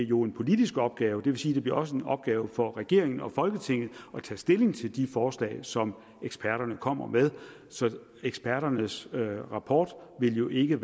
jo en politisk opgave det vil sige at det også bliver en opgave for regeringen og folketinget at tage stilling til de forslag som eksperterne kommer med så eksperternes rapport vil jo ikke